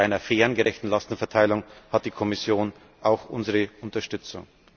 Und bei einer fairen, gerechten Lastenverteilung hat die Kommission auch unsere Unterstützung.